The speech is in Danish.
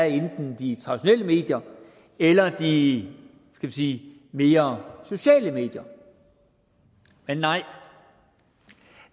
enten i de traditionelle medier eller i de skal vi mere sociale medier men nej